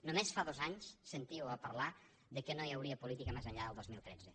només fa dos anys sentíeu a parlar que no hi hauria política més enllà del dos mil tretze